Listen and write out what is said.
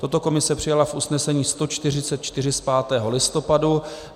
Toto komise přijala v usnesení 144 z 5. listopadu.